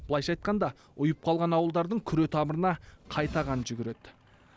былайша айтқанда ұйып қалған ауылдардың күре тамырына қайта қан жүгіреді